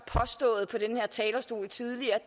har talerstol tidligere